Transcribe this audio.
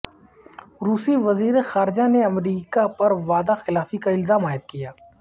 روسی وزیر خارجہ نے امریکہ پر وعدہ خلافی کا الزام عائد کیا